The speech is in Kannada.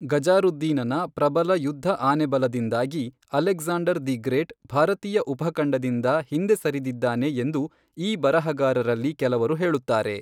ಗಜಾರುದ್ದೀನನ ಪ್ರಬಲ ಯುದ್ಧ ಆನೆ ಬಲದಿಂದಾಗಿ ಅಲೆಕ್ಸಾಂಡರ್ ದಿ ಗ್ರೇಟ್ ಭಾರತೀಯ ಉಪಖಂಡದಿಂದ ಹಿಂದೆ ಸರಿದಿದ್ದಾನೆ ಎಂದು ಈ ಬರಹಗಾರರಲ್ಲಿ ಕೆಲವರು ಹೇಳುತ್ತಾರೆ.